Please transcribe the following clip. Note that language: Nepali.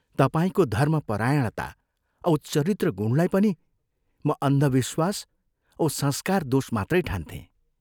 तपाईंको धर्मपरायणता औ चरित्रगुणलाई पनि म अन्धविश्वास औ संस्कार दोष मात्रै ठान्थें।